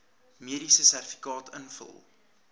mediese sertifikaat invul